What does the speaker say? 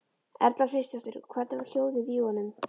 Erla Hlynsdóttir: Og hvernig var hljóðið í honum?